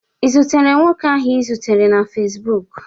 i zutere nwoke ahụ ị zutere na Facibụkụ?